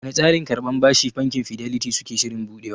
Wane tsarin karban bashi bankin fidelity suke shirin buɗewa?